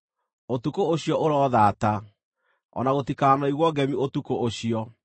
Ũtukũ ũcio ũrothaata; o na gũtikanoigwo ngemi ũtukũ ũcio.